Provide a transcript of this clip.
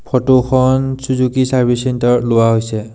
ফটোখন Suzuki service চেণ্টাৰত লোৱা হৈছে।